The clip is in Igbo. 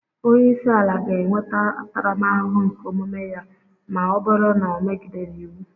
Onye isi ala ga-enweta ntaramahụhụ nke omume ya ma ọ bụrụ na o megidere iwu